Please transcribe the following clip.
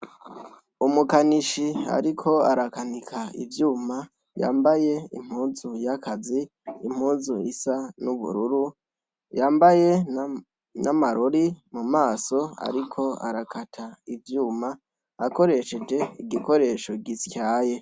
Umukanishi ariko arakanika ivyuma, yambaye impuzu y’akazi, impuzu isa n’ubururu, yambaye n’amarori mumaso ariko arakata ivyuma akoresheje igikoresha gisyaye.